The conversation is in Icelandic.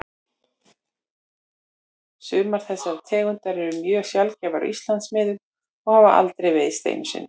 Sumar þessara tegunda eru mjög sjaldgæfar á Íslandsmiðum og hafa aðeins veiðst einu sinni.